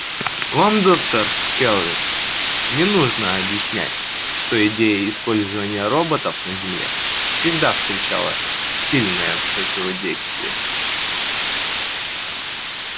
вам доктор кэлвин не нужно объяснять что идея использования роботов на земле всегда встречала сильное противодействие